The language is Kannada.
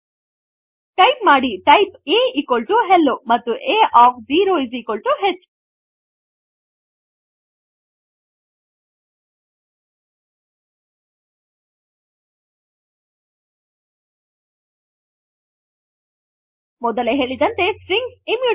ಟೈಪ್ ಮಾಡಿ ಟೈಪ್ a ಹೆಲ್ಲೊ ಮತ್ತು a ಒಎಫ್ 0 H ಮೊದಲೇ ಹೇಳಿದಂತೆ ಸ್ಟ್ರಿಂಗ್ಸ್ ಇಮ್ಯೂಟಬಲ್